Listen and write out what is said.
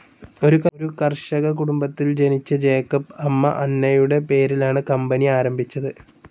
ഒരു കർഷക കുടുംബത്തിൽ ജനിച്ച ജേക്കബ് അമ്മ അന്നയുടെ പേരിലാണ് കമ്പനി ആരംഭിച്ചത്.